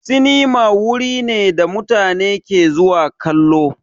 Sinima wuri ne da mutane ke zuwa kallo.